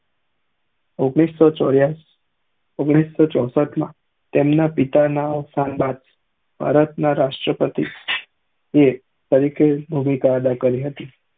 ઇઘ્નીશ સૌ ચૌરાસી ઓઘ્નીશા સૌ ચૌશટ માં તેમના પિતા ના અવશાન બાદ ભારત ના રાષ્ટ્રીય પ્રતિ એ તરીકે ભુમિ અદા કરી હતી